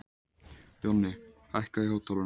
Jonni, hækkaðu í hátalaranum.